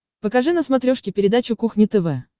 покажи на смотрешке передачу кухня тв